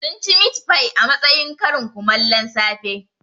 Sun ci mitfai a matsayin karin kumallon safe